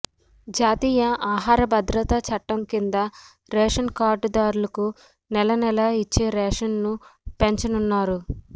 జాతీయ ఆహార భద్రత చట్టం కింద రేషన్ కార్డుదారులకు నెల నెలా ఇచ్చే రేషన్ ను పెంచనున్నారు